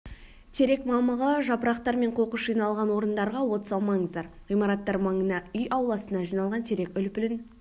терек мамығы жапырақтар мен қоқыс жиналған орындарға от салмаңыздар ғимараттар маңына үй ауласына жиналған терек үлпілін